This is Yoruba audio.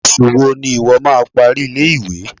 Oṣù wo ni ìwo má a parí ilé-ìwé?